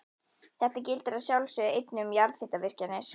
Þetta gildir að sjálfsögðu einnig um jarðhitavirkjanir.